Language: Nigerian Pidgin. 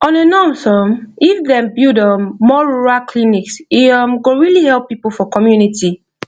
on a norms um if dem build um more rural clinics e um go really help people for community